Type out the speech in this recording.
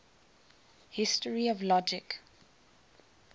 history of logic